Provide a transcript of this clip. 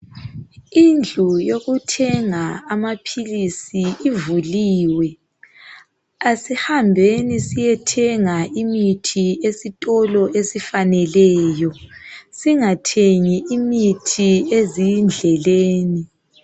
Indlu yokuthenga amaphilisi ivuliwe, asihambeni siyethenga imithi esitolo esifaneleyo singathengi imithi ezindleleni.